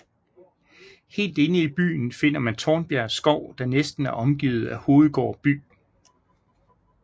Helt inde i byen finder man Tornbjerg Skov der næsten er omgivet af Hovedgård by